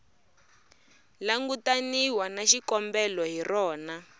langutaniwa na xikombelo hi rona